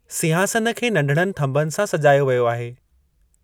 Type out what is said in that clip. सिंहासन खे नंढड़नि थंभनि सां सजायो वियो आहे।